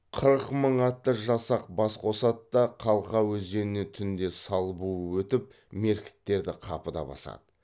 қырық мың атты жасақ бас қосады да қалқа өзенінен түнде сал буып өтіп меркіттерді қапыда басады